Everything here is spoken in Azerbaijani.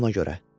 Ona görə.